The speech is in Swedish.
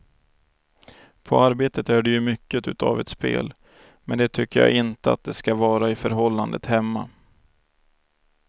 På arbetet är det ju mycket utav ett spel, men det tycker jag inte att det ska vara i förhållandet hemma.